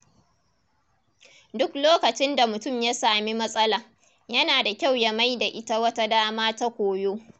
Duk lokacin da mutum ya sami matsala, yana da kyau ya mai da ita wata dama ta koyo.